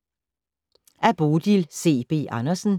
Af Bodil C. B. Andersen